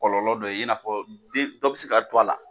Kɔlɔlɔ dɔ ye i n'a fɔ dɔ den bɛ se ka to a la!